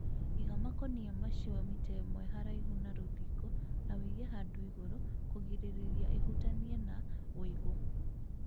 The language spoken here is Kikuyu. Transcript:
Iga makũnia macio mita imwe haraihu na rũthingo na ũige handũ igũrũ kũgirĩrĩria ihutanie na ũigũ